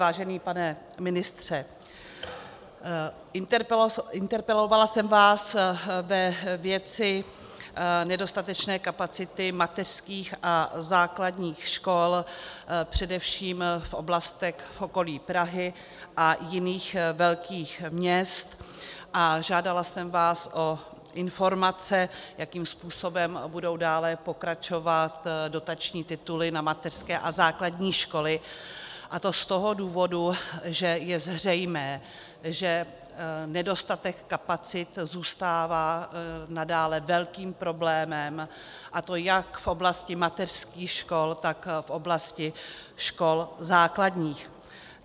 Vážený pane ministře, interpelovala jsem vás ve věci nedostatečné kapacity mateřských a základních škol především v oblastech v okolí Prahy a jiných velkých měst a žádala jsem vás o informace, jakým způsobem budou dále pokračovat dotační tituly na mateřské a základní školy, a to z toho důvodu, že je zřejmé, že nedostatek kapacit zůstává nadále velkým problémem, a to jak v oblasti mateřských škol, tak v oblasti škol základních.